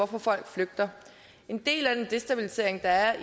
folk flygter en del af den destabilisering der er